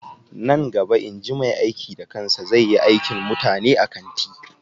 Nan gaba inji mai aiki da kansa zai yi aikin mutane a kanti